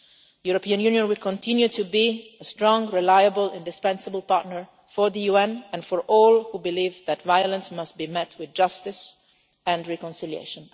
The European Union will continue to be a strong, reliable and indispensable partner for the UN and for all who believe that violence must be met with justice and reconciliation.